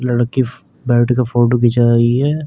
लड़की बैठ के फोटो खींचा रही है।